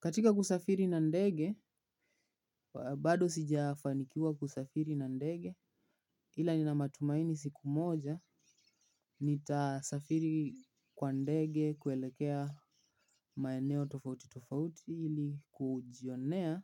Katika kusafiri na ndege, bado sijafanikiwa kusafiri na ndege ila nina matumaini siku moja. Nitasafiri kwa ndege kuelekea maeneo tofauti tofauti ili kujionea